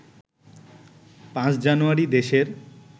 ৫ জানুয়ারি দেশের